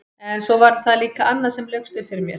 En svo var það líka annað sem laukst upp fyrir mér.